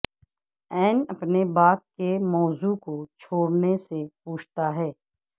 N اپنے باپ کے موضوع کو چھوڑنے سے پوچھتا ہے